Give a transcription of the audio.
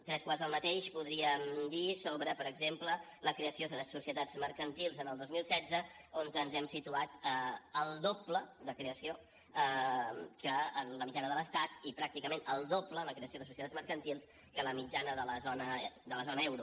tres quarts del mateix podríem dir sobre per exemple la creació de societats mercantils el dos mil setze on ens hem situat al doble de creació que en la mitjana de l’estat i pràcticament el doble en la creació de societats mercantils que la mitjana de la zona euro